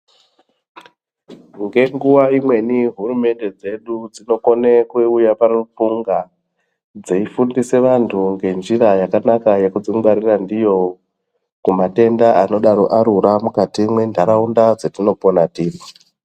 Ngenguwa dzimweni hurumende dzedu dzinokone kuuya paruxunga dzeifundisa anthu njira yakanaka yekudzingwarira ndiyo kumatenda anodai arura munharaunda dzetinogara dzetinopona tiri.